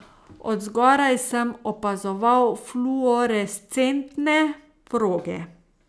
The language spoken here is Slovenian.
Od zgoraj sem opazoval fluorescentne proge.